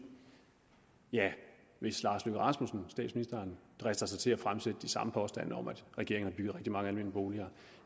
hvis lars løkke rasmussen drister sig til at fremsætte de samme påstande om at regeringen har bygget rigtig mange almene boliger